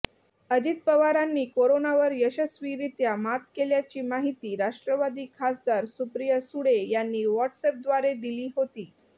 अजित पवारांनी कोरोनावर यशस्वीरित्या मात केल्याची माहिती राष्ट्रवादी खासदार सुप्रिया सुळे यांनी व्हाटसअॅपद्वारे दिली होती